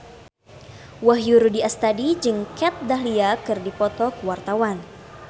Wahyu Rudi Astadi jeung Kat Dahlia keur dipoto ku wartawan